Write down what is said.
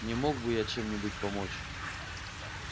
не мог бы я чем-нибудь помочь